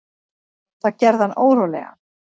Það gerði hann órólegan.